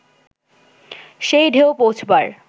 সেই ঢেউ পৌঁছবার